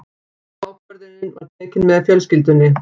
Ákvörðunin var tekin með fjölskyldunni.